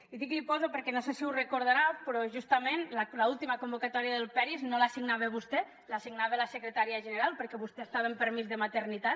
i dic que l’hi poso perquè no sé si ho recordarà perquè justament l’última convocatòria del peris no la signava vostè la signava la secretària general perquè vostè estava en permís de maternitat